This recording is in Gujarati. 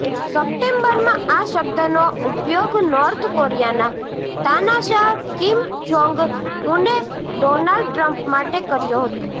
સપ્ટેમ્બરમાં આ શબ્દનો ઉપયોગ નોર્થ કોરિયાના તાનાશાહ કિમ જોંગ ઉને ડોનાલ્ડ ટ્રમ્પ માટે કર્યો હતો